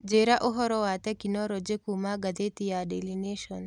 Njĩĩra ũhoro wa tekinoronjĩ kũũma gathiti ya daily nation